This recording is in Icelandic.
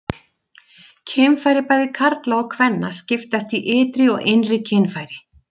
Kynfæri bæði karla og kvenna skiptast í ytri og innri kynfæri.